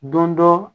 Don dɔ